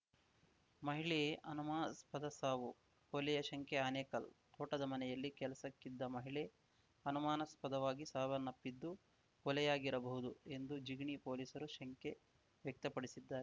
ಮಹಿಳೆಯೆ ಅನುಮಾಸ್ಪದ ಸಾವು ಕೊಲೆಯ ಶಂಕೆ ಆನೇಕಲ್‌ ತೋಟದ ಮನೆಯಲ್ಲಿ ಕೆಲಸಕ್ಕಿದ್ದ ಮಹಿಳೆ ಅನುಮಾನಾಸ್ಪದವಾಗಿ ಸಾವನ್ನಪ್ಪಿದ್ದು ಕೊಲೆಯಾಗಿರಬಹುದು ಎಂದು ಜಿಗಣಿ ಪೊಲೀಸರು ಶಂಕೆ ವ್ಯಕ್ತಪಡಿಸಿದ್ದಾರೆ